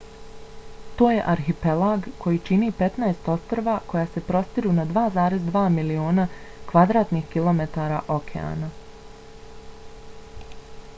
to je arhipelag koji čini 15 ostrva koja se prostiru na 2,2 miliona km2 okeana